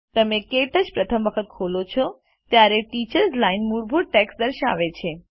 તમે ક્ટચ પ્રથમ વખત ખોલો છો ત્યારે ટીચર્સ લાઇન મૂળભૂત ટેક્સ્ટ દર્શાવે છે